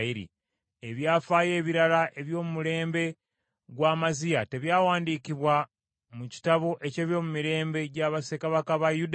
Ebyafaayo ebirala eby’omulembe gwa Amaziya, tebyawandiikibwa mu kitabo eky’ebyomumirembe gya bassekabaka ba Yuda?